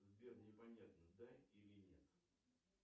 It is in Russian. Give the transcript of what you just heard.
сбер непонятно да или нет